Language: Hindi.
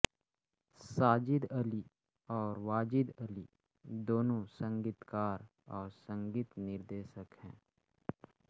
साजिद अली और वाजिद अली दोनों संगीतकार और संगीत निर्देशक हैं